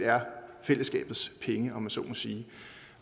fællesskabets penge om man så må sige